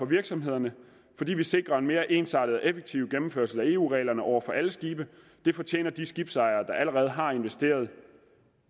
virksomhederne fordi vi sikrer en mere ensartet og effektiv gennemførelse af eu reglerne over for alle skibe det fortjener de skibsejere der allerede har investeret